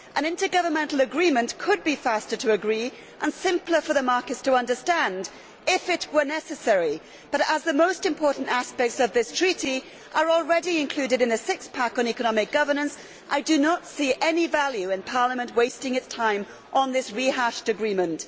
An intergovernmental agreement could be faster to agree and simpler for the markets to understand if it were necessary, but as the most important aspects of this treaty are already included in a six pack on economic governance I do not see any value in Parliament wasting its time on this rehashed agreement.